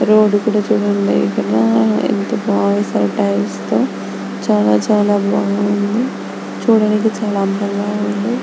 Road కూడా చుడండి ఇక్కడ యెంత బాగుంది టైల్స్ చాలా చాలా బాగుంది చూడడానికి చాలా అందంగా ఉంది.